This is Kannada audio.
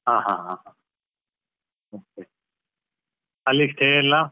ಹ ಹ ಹ okay ಅಲ್ಲಿ stay ಎಲ್ಲ?